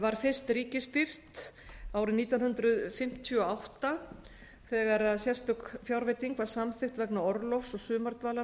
var fyrst ríkisstyrkt árið nítján hundruð fimmtíu og átta þegar sérstök fjárveiting var samþykkt vegna orlofs og sumardvalar